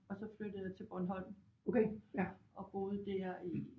Og så flyttede jeg til Bornholm og boede der i